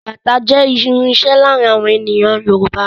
Bàtá jẹ́ irinṣẹ́ láàárín àwọn ènìyàn Yorùbá